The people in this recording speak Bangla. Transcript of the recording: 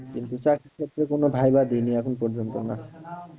কিন্তু চাকরি ক্ষেত্রে কোনো viva দিনি এখন পর্যন্ত না